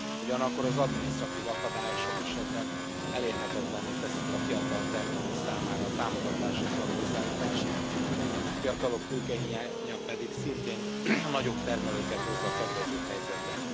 Ugyanakkor az adminisztratív akadályok sok esetben elérhetetlenné teszik a fiatal termelők számára a támogatáshoz való hozzájutást, a fiatalok tőkehiánya pedig szintén a nagyobb termelőket hozza kedvezőbb helyzetbe.